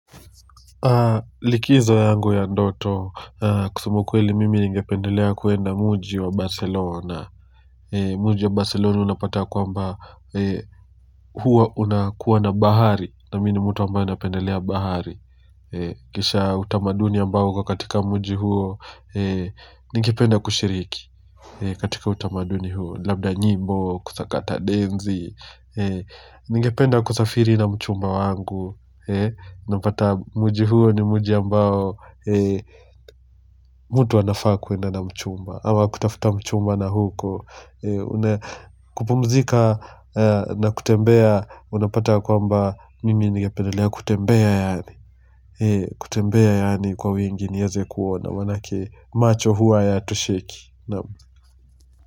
Likizo yangu ya ndoto kusema ukweli mimi ningependelea kwenda muji wa Barcelona muji wa Barcelona unapata ya kwamba huwa unakuwa na bahari na mimi mtu ambaye napendelea bahari kisha utamaduni ambao uko katika muji huo ningependa kushiriki katika utamaduni huo labda nyimbo kusakata densi ningependa kusafiri na mchumba wangu Unapata muji huo ni muji ambao mtu anafaa kwenda na mchumba ama kutafuta mchumba na huko kupumzika na kutembea Unapata ya kwamba mimi ningependelea kutembea yaani kutembea yaani kwa wingi niweze kuona manake macho huwa hayatosheki.